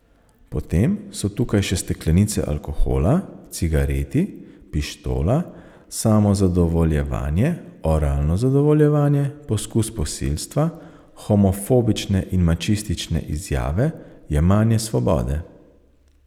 Potem so tukaj še steklenice alkohola, cigareti, pištola, samozadovoljevanje, oralno zadovoljevanje, poskus posilstva, homofobične in mačistične izjave, jemanje svobode.